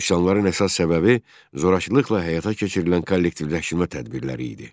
Üsyanların əsas səbəbi zorakılıqla həyata keçirilən kollektivləşmə tədbirləri idi.